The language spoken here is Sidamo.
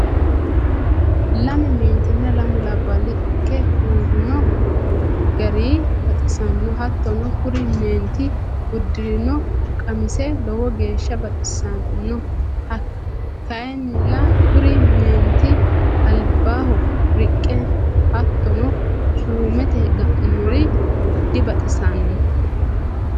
lame meentinna lamu labali ike uurino gari baxisanno hatono kuri meenti udirinno qamise lowo geesha baxisanno kayinnila kuri meenti alibaho riqe hatonno suumate ga'ninori dibaxisanno.